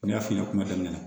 N y'a f'i ɲɛna kuma daminɛ na